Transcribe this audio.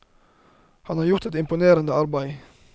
Han har gjort et imponerende arbeide.